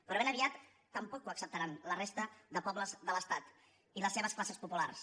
però ben aviat tampoc ho acceptaran la resta de pobles de l’estat i les seves classes populars